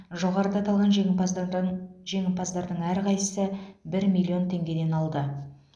жоғарыда аталған жеңімпаздардан жеңімпаздардың әрқайсысы бір миллион теңгеден алды